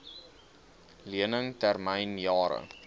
lening termyn jare